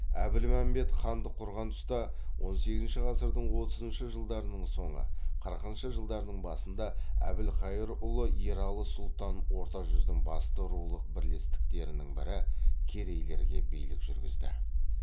әбілмәмбет хандық құрған тұста он сегізінші ғасырдың отызыншы жылдарының соңы қырықыншы жылдарының басында әбілқайыр ұлы ералы сұлтан орта жүздің басты рулық бірлестіктерінің бірі керейлерге билік жүргізді